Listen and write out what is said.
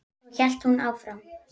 Svo hélt hún áfram: